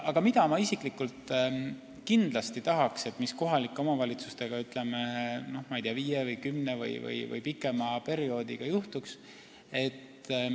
Aga mida ma isiklikult tahaksin, et juhtuks kohalike omavalitsustega viie või kümne aasta või pikema perioodi jooksul?